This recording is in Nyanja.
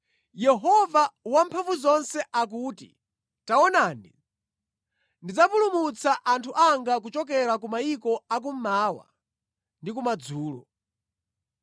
Yehova Wamphamvuzonse akuti, “Taonani ndidzapulumutsa anthu anga kuchokera ku mayiko a kummawa ndi kumadzulo.